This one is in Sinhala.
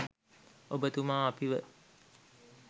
ඔබතුමා අපිව